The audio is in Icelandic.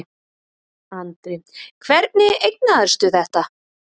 Andri: Hvernig eignaðistu þetta?